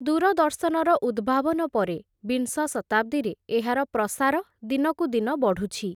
ଦୂରଦର୍ଶନର ଉଦ୍ଭାବନ ପରେ, ବିଂଶ ଶତାଦ୍ଦୀରେ, ଏହାର ପ୍ରସାର ଦିନକୁ ଦିନ ବଢ଼ୁଛି ।